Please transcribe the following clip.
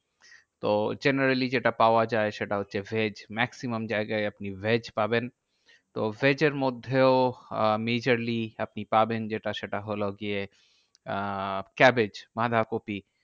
তো generally যেটা পাওয়া যায় সেটা হচ্ছে veg. maximum জায়গায় আপনি veg পাবেন। তো veg এর মধ্যেও আহ majorly আপনি পাবেন যেটা, সেটা হলো গিয়ে আহ cabbage বাঁধাকপি।